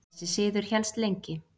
Þessi siður hélst lengi.